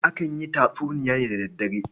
Akan yi tatsuniya ne da daddare.